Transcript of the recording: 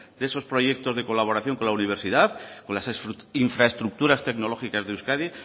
de esos proyectos de colaboración con la universidad con las infraestructuras tecnológicas de euskadi